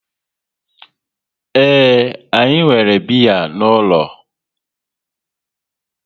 Ee, anyi nwere biya n'ulo